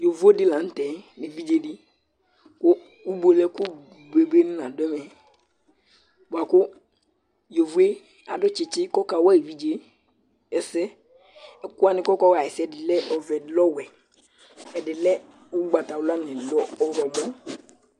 yovo di la nu tɛ nu evidze di ku ubuele ku bebe ni la du ɛmɛ bua ku yovoe adu tsitsi ku ɔkawa evidze ɛsɛ ɛku wʋni ni kɔ ka wʋ ɛsɛ lɛ ɛvɛ, ɛdi lɛ ɔwɛ, ɛdi ugbata wla nu ɛdi ɔwlɔmɔ